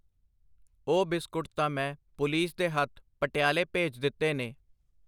ਉਹ ਬਿਸਕੁਟ ਤਾਂ ਮੈਂ ਪੁਲੀਸ ਦੇ ਹੱਥ ਪਟਿਆਲੇ ਭੇਜ ਦਿੱਤੇ ਨੇ.